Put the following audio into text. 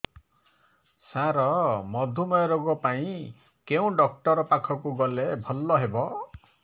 ସାର ମଧୁମେହ ରୋଗ ପାଇଁ କେଉଁ ଡକ୍ଟର ପାଖକୁ ଗଲେ ଭଲ ହେବ